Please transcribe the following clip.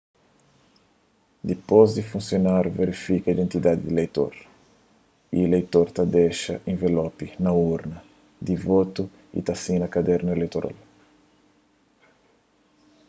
dipôs di funsionárius verifika identidadi di ileitor ileitor ta dexa envelopi na urna di votu y ta sina kadernu ileitoral